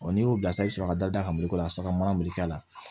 n'i y'u bila i bi sɔrɔ ka da ka la a sɔrɔ ka mana mugu k'a la